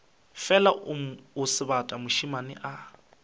fela o sebata mošemane a